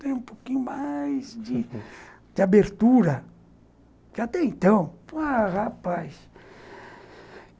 Tem um pouquinho mais de abertura, que até então... Ah, rapaz!